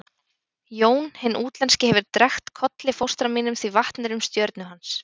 Jón hinn útlenski hefur drekkt Kolli fóstra mínum því vatn er um stjörnu hans.